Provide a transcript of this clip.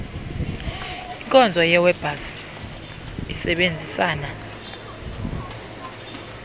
inkonzo yewebpals isebenzisana